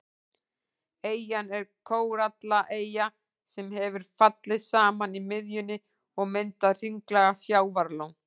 Eyjan er kórallaeyja sem hefur fallið saman í miðjunni og myndað hringlaga sjávarlón.